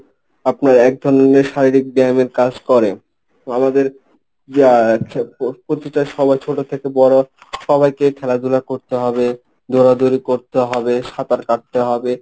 আপনার এক ধরনের শারীরিক ব্যায়ামের কাজ করে আমাদের যা প্রতিটা সময় ছোট থেকে বড় সবাইকে খেলাধুলা করতে হবে দৌড়াদৌড়ি করতে হবে, সাঁতার কাটতে হবে।